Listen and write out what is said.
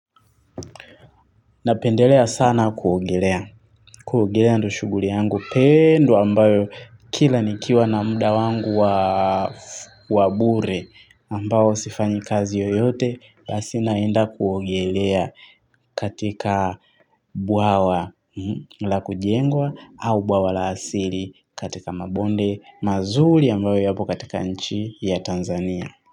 Na pendelea sana kuogelea. Kuogelea ndo shuguri yangu pendwa ambayo kila nikiwa na mda wangu wa bure ambao sifanyi kazi yoyote basi naenda kuogelea katika bwawa la kujengwa au bwawa la asili katika mabonde mazuri ambayo yapo katika nchi ya Tanzania.